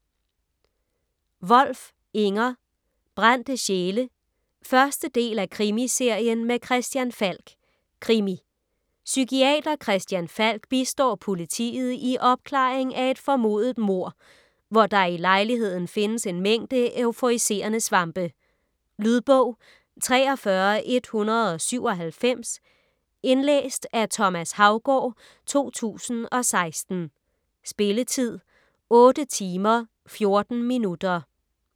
Wolf, Inger: Brændte sjæle 1. del af Krimiserien med Christian Falk. Krimi. Psykiater Christian Falk bistår politiet i opklaringen af et formodet mord, hvor der i lejligheden findes en mængde euforiserende svampe. Lydbog 43197 Indlæst af Thomas Haugaard, 2016. Spilletid: 8 timer, 14 minutter.